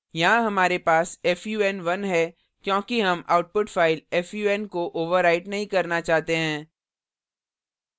यहाँ हमारे पास fun1 है क्योंकि हम output file fun को overwrite नहीं करना चाहते हैं